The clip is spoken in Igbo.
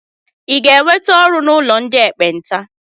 Ịga-enweta ọrụ n'ụlọ ndị ekpenta?